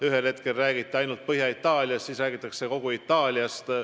Ühel hetkel räägiti ainult Põhja-Itaaliast, nüüd räägitakse kogu Itaaliast.